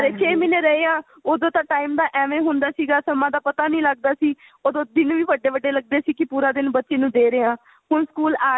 ਘਰੇ ਛੇ ਮਹੀਨੇ ਰਹੇ ਆਂ ਉਦੋਂ ਤਾਂ time ਦਾ ਐਵੇਂ ਹੁੰਦਾ ਸੀਗਾ ਸਮੇਂ ਦਾ ਪਤਾ ਨਹੀ ਲੱਗਦਾ ਸੀ ਉਦੋਂ ਦਿਨ ਵੀ ਵੱਡੇ ਵੱਡੇ ਲੱਗਦੇ ਸੀ ਕੀ ਪੂਰਾ ਦਿਨ ਬੱਚੇ ਨੂੰ ਦੇ ਰਹੇ ਆਂ ਹੁਣ ਸਕੂਲ ਆ ਰਹੇ